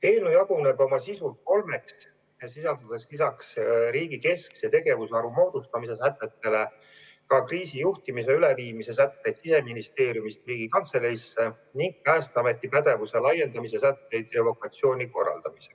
Eelnõu jaguneb oma sisult kolmeks, sisaldades lisaks riigi keskse tegevusvaru moodustamise sätetele ka sätteid kriisijuhtimise üleviimise kohta Siseministeeriumist Riigikantseleisse ning Päästeameti pädevuse laiendamise kohta evakuatsiooni korraldades.